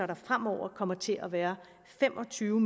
der fremover kommer til at være fem og tyve